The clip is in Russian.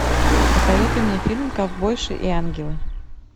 посоветуй мне фильм ковбойши и ангелы